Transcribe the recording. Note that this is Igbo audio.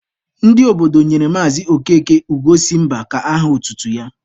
Ndị obodo nyere Maazị Okeke Ugo si mba ka aha otutu ya.